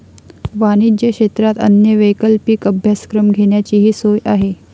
वाणिज्य क्षेत्रात अन्य वैकल्पिक अभ्यासक्रम घेण्याचीही सोय आहे.